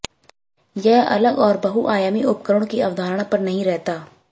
यह अलग और बहुआयामी उपकरणों की अवधारणा पर नहीं रहता